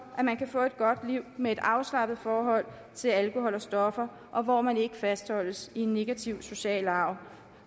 at man kan få et godt liv med et afslappet forhold til alkohol og stoffer og hvor man ikke fastholdes i en negativ social arv